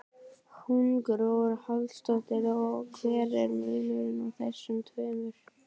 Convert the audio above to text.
Hugrún Halldórsdóttir: Og hver er munurinn á þessum tveimur?